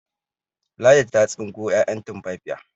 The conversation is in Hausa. Ladi ta tsinko 'ya'yan tumfafiya